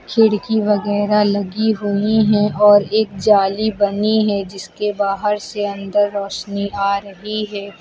खिड़की वगैरा लगी हुई हैं और एक जाली बनी है जिसके बाहर से अंदर रोशनी आ रही है।